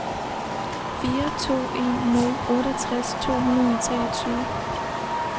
fire to en nul otteogtres to hundrede og treogtyve